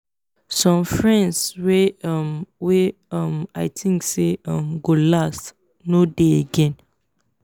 some friends wey um wey um i think sey um go last no de again